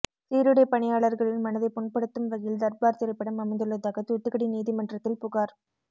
சீருடை பணியாளர்களின் மனதை புண்படுத்தும் வகையில் தர்பார் திரைப்படம் அமைந்துள்ளதாக தூத்துக்குடி நீதிமன்றத்தில் புகார்